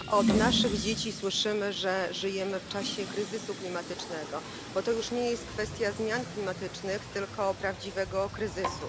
Od naszych dzieci słyszymy, że żyjemy w czasie kryzysu klimatycznego, bo to już nie jest kwestia zmian klimatycznych, tylko prawdziwego kryzysu.